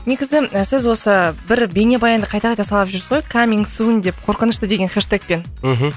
негізі сіз осы бір бейнебаянды қайта қайта салып жүрсіз ғой каминг сунь деп қорқынышты деген хештегпен мхм